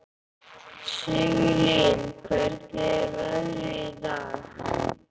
Sigurlín, hvernig er veðrið í dag?